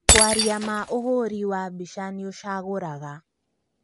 Kwaria ma ũhũri wa mbica nĩũcagũraga